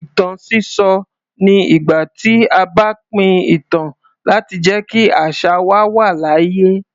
Ìtàn sísọ ni ìgbà tí a bá pín ìtàn láti jẹ́ kí àṣà wa wà láàyè.